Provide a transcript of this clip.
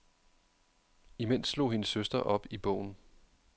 Imens slog hendes søster op i bogen.